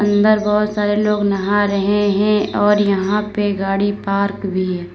अन्दर बहुत सारे लोग नहा रहे हैं और यहां पे गाड़ी पार्क भी है।